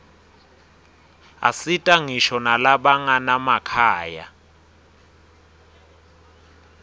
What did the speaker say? asita ngisho nalabanganamakhaya